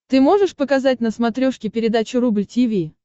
ты можешь показать на смотрешке передачу рубль ти ви